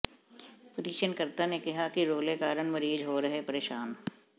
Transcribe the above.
ਪਟੀਸ਼ਨਕਰਤਾ ਨੇ ਕਿਹਾ ਕਿ ਰੌਲੇ ਕਾਰਨ ਮਰੀਜ਼ ਹੋ ਰਹੇ ਪਰੇਸ਼ਾਨ